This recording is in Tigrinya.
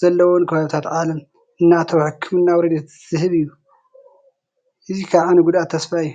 ዘለዎም ከባብታት ዓለም እናኣተወ ሕክምናዊ ረድኤት ዝህብ እዩ፡፡ እዚ ከዓ ንጉዱኣት ተስፋ እዩ፡፡